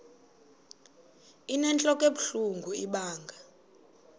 inentlok ebuhlungu ibanga